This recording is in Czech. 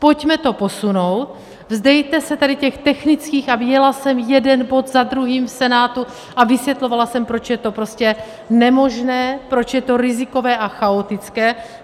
Pojďme to posunout, vzdejte se tady těch technických, a viděla jsem jeden bod za druhým v Senátu, a vysvětlovala jsem, proč je to prostě nemožné, proč je to rizikové a chaotické.